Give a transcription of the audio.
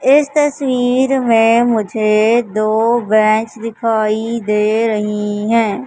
इस तस्वीर में मुझे दो बेंच दिखाई दे रही है।